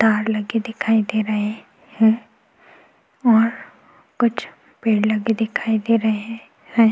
तार लगे दिखाई दे रहे हैं और कुछ पेड़ लगे दिखाई दे रहे हैं।